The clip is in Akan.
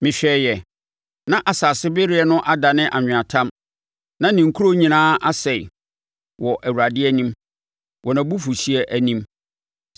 Mehwɛeɛ, na nsasebereɛ no adane anweatam na ne nkuro nyinaa asɛe wɔ Awurade anim, wɔ nʼabufuhyeɛ anim.